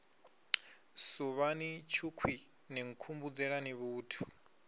suvhani tshukhwii ni nkhumbudzelani vhuthu